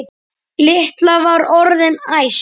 Lilla var orðin æst.